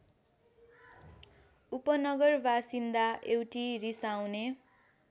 उपनगरबासिन्दा एउटी रिसाउने